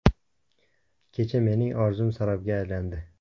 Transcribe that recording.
Kecha mening orzum sarobga aylandi.